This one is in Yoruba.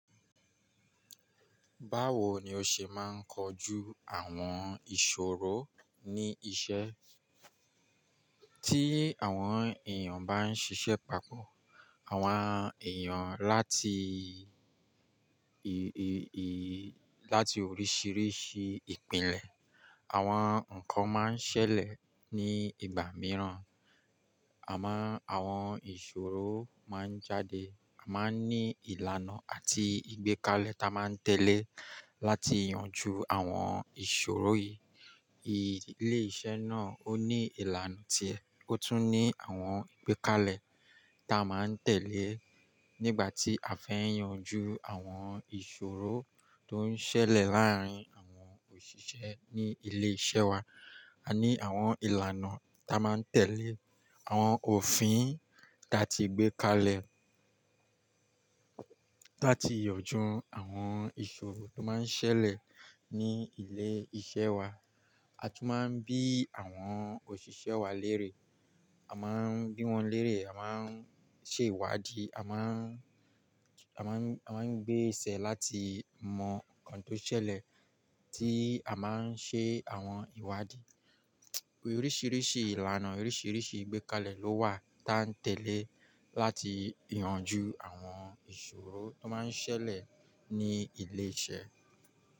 Báwo ni o ṣe máa ń kojú àwọn ìṣòro ní iṣẹ́? Tí àwọn èèyàn bá ń ṣiṣẹ́ papọ̀, àwọn èèyàn láti ì, ì, ì, láti oríṣiríṣi ìpìnlẹ̀, àwọn nǹkan máa ń ṣẹlẹ̀ ní ìgbà mìíràn. Àmá, àwọn ìṣòro máa ń jáde, a máa ń ní ìlànà àti ìgbékalẹ̀ ta máa ń tẹ̀lé láti yanjú àwọn ìṣòro yìí. Ilé-iṣẹ́ náà ó ní ìlànà ti ẹ, ó tún ní àwọn ìgbékalẹ̀ ta máa ń tẹ̀lé nígbà tí a fẹ́ yanjú àwọn ìṣòro tó ń ṣẹlẹ̀ láàárín àwọn òṣìṣẹ́ ní ilé-iṣẹ́ wa. A ní àwọn ìlànà ta máa ń tẹ̀lé, àwọn òfin ta ti gbé kalẹ̀ táa ti yanjú àwọn ìṣòro tó máa ń ṣẹlẹ̀ ní ilé-iṣẹ́ wa. A tún máa ń bí àwọn òṣìṣẹ́ wa lérè, a máa ń bí wọn lérè, a máa ń ṣe ìwádìí, a máà ń, a máa ń, a máa ń gbé ìṣẹ́ láti mọ nǹkan tó ṣẹlẹ̀ tí a máa ń ṣe àwọn ìwádìí. Oríṣiríṣi ìlànà, oríṣiríṣi ìgbékalẹ̀ ló wà ta ń tẹ̀lé láti yanjú àwọn ìṣòro tó máa ń ṣẹlẹ̀ ní ilé-iṣẹ́